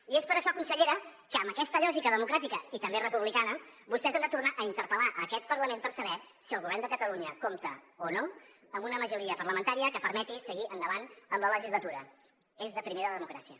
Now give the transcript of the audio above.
i és per això consellera que amb aquesta lògica democràtica i també republicana vostès han de tornar a interpel·lar aquest parlament per saber si el govern de catalunya compta o no amb una majoria parlamentària que permeti seguir endavant amb la legislatura és de primer de democràcia